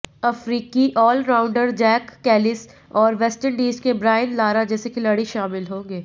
अफ्रीकी allrounder Jack Kallis और West Indies के ब्रायन लारा जैसे खिलाड़ी शामिल होंगे